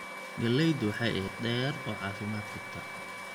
Galleydu waxay ahayd mid dheer oo caafimaad qabta.